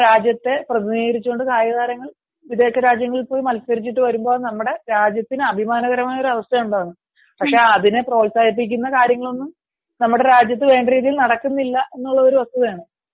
രാജ്യത്തെ പ്രതിനിധീകരിച്ചു കായിക താരങ്ങൾ വിദേശ രാജ്യങ്ങളിൽ പോയി മത്സരിച്ചു വരുമ്പോൾ നമ്മുടെ രാജ്യത്തിന് അഭിമാനകരമായ ഒരു അവസ്ഥയാണ് ഉണ്ടാവുന്നത് പക്ഷെ അതിനെ പ്രോത്സാഹിപ്പിക്കുന്ന കാര്യങ്ങളൊന്നും നമ്മുടെ രാജ്യത്തു വേണ്ട രീതിയിൽ നടക്കുന്നില്ല എന്നത് ഒരു വസ്തുതയാണ്